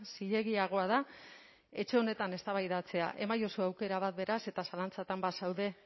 zilegiagoa da etxe honetan eztabaidatzea emaiozu aukera bat beraz eta zalantzatan bazaude